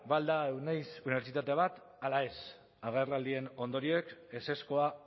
ba al da euneiz unibertsitate bat ala ez agerraldien ondorioek ezezkoa